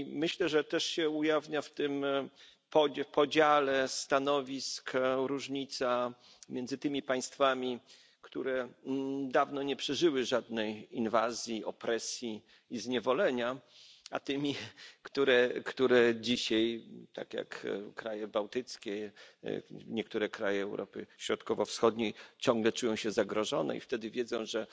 Myślę, że ujawnia się w tym podziale stanowisk różnica między państwami, które dawno nie przeżyły żadnej inwazji, opresji i zniewolenia, a tymi, które dzisiaj, tak jak kraje bałtyckie czy niektóre kraje Europy Środkowo Wschodniej, ciągle czują się zagrożone i wiedzą, że